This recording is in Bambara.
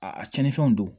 A tiɲɛnifɛnw don